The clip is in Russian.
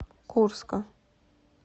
курска